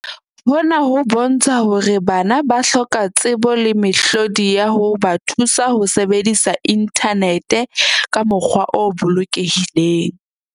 Hona ho bontsha hore bana ba hloka tsebo le mehlodi ya ho ba thusa ho sebedisa inthanete ka mokgwa o bolokelehileng.